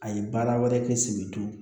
A ye baara wɛrɛ kɛ sibiri